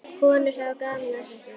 Konur hafa gaman af þessu.